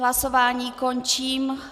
Hlasování končím.